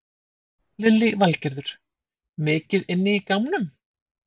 Lillý Valgerður: Mikið inn í gámnum?